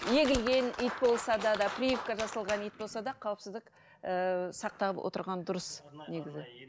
егілген ит болса да да прививка жасалған ит болса да қауіпсіздік ііі сақтап отырған дұрыс негізі